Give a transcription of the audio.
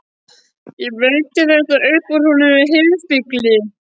Ég veiddi þetta upp úr honum með harðfylgi.